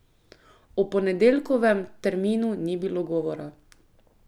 O ponedeljkovem terminu ni bilo govora.